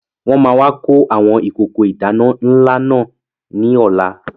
Wọn máa wà kó àwọn ìkókó ìdáná ńlá náà ní ọ̀la